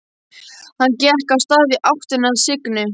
Hann gekk af stað í áttina að Signu.